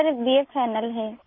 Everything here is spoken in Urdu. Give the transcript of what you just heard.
سر، میں بی اے فائنل ہے